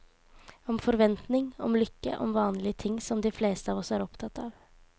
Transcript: Om forventning, om lykke, om vanlige ting som de fleste av oss er opptatt av.